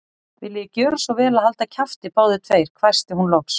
Viljiði gjöra svo vel að halda kjafti, báðir tveir hvæsti hún loks.